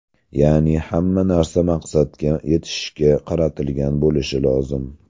Ya’ni, hamma narsa maqsadga yetishga qaratilgan bo‘lishi lozim.